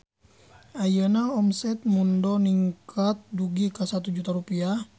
Ayeuna omset Mundo ningkat dugi ka 1 juta rupiah